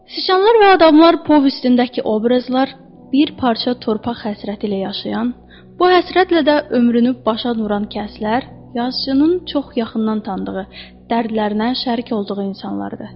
Siçanlar və adamlar povestindəki obrazlar bir parça torpaq həsrəti ilə yaşayan, bu həsrətlə də ömrünü başa vuran kəslər, yazıçının çox yaxından tanıdığı, dərdlərinə şərik olduğu insanlardır.